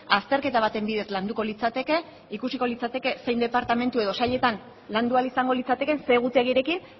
azterketa baten bidez landuko litzateke ikusiko litzateke zein departamentu edo sailetan landu ahal izango litzatekeen zer egutegirekin